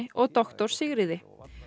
og doktor Sigríði